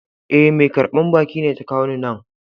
E,mai karban bakin ne ta kawo ni nan.